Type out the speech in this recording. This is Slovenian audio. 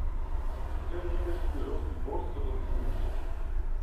Osrednji indeksi evropskih borz so pod izhodiščem.